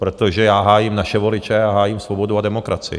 Protože já hájím naše voliče a hájím svobodu a demokracii.